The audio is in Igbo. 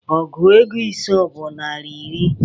Ọgụ ego ise bụ naira iri